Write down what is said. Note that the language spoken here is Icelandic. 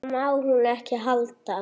Það má hún ekki halda.